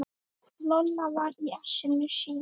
Lolla var í essinu sínu.